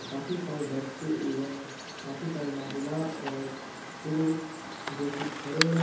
काफी सारे बच्चे एवं काफी सारे महिला और पुरुष जो की खड़े हैं।